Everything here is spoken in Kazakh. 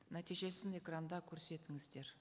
нәтижесін экранда көрсетіңіздер